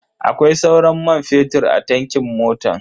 Akwai sauran man fetur a tankin motan?